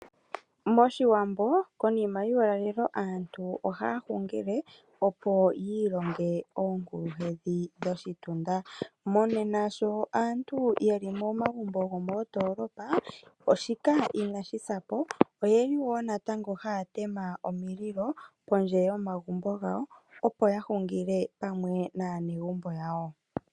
MOshiwambo, konima yuulalelo aantu ohaya hungile, opo yi ilonge oonkuluhedhi dhoshitunda. Monena sho aantu yeli momagumbo gomoondolopa, shika inashi sa po, oyeli wo natango haya tema omililo pondje yomagumbo gawo, opo ya hungile pamwe naanegumbo yawo.